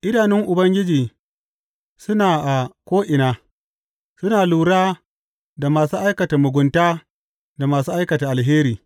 Idanun Ubangiji suna a ko’ina, suna lura da masu aikata mugunta da masu aikata alheri.